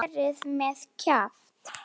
Og verið með kjaft.